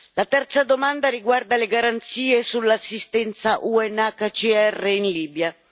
La terza domanda riguarda le garanzie sull'assistenza UNHCR in Libia.